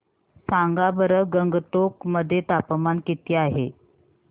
सांगा बरं गंगटोक मध्ये तापमान किती आहे